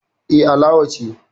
Eh, Alawa ce